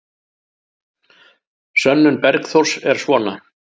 Sönnun Bergþórs er svona: